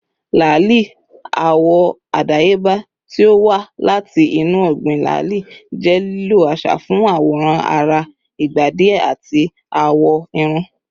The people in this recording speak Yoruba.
lali, awọ adayeba ti o wa lati inu ọgbin lali, jẹ lilo aṣa fun aworan ara igba diẹ ati awọ irun